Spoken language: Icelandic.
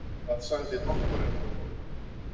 Hvað sagði doktorinn?